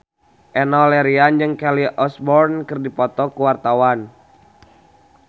Enno Lerian jeung Kelly Osbourne keur dipoto ku wartawan